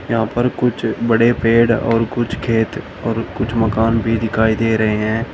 यहां पर कुछ बड़े पेड़ और कुछ खेत और कुछ मकान भी दिखाई दे रहे हैं।